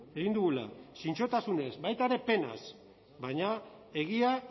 egin dugula zintzotasunez baita ere penaz baina egia